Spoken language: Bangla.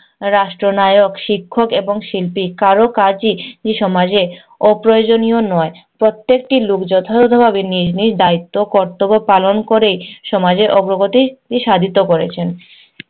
রাষ্ট্রনায়ক, শিক্ষক এবং শিল্পী কারো কাজই ই সমাজে অপ্রয়োজনীয় নয়। প্রত্যেকটি লোক যথাযথভাবে নিজের দায়িত্ব ও কর্তব্য পালন ক'রে সমাজে অগ্রগতি সাধিত করেছেন।